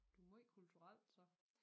Du måj kulturel så